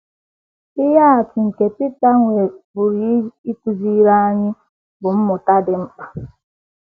Ihe atụ nke Pita pụrụ ịkụziri anyị ihe mmụta dị mkpa.